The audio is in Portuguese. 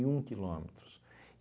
e um quilômetros.